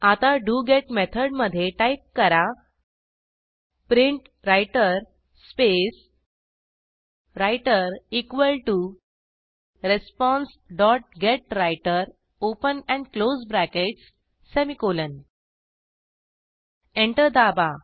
आता do get method मधे type करा print writer space writer equal to response dot get writer open and close brackets semicolon enter दाबा